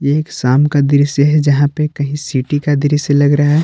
ये एक शाम का दृश्य है यहां पे कहीं सिटी का दृश्य लग रहा है।